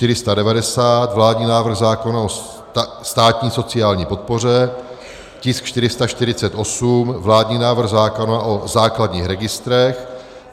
tisk 490 - vládní návrh zákona o státní sociální podpoře; tisk 448 - vládní návrh zákona o základních registrech;